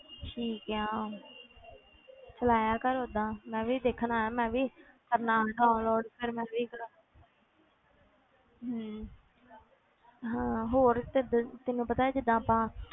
ਠੀਕ ਹੈ ਚਲਾਇਆ ਕਰ ਓਦਾਂ ਮੈਂ ਵੀ ਦੇਖਣਾ ਹੈ, ਮੈਂ ਵੀ ਕਰਨਾ download ਫਿਰ ਮੈਂ ਵੀ ਕਰਾਂ ਹਮ ਹਾਂ ਹੋਰ ਤੈਨੂੰ ਤੈਨੂੰ ਪਤਾ ਹੈ ਜਿੱਦਾਂ ਆਪਾਂ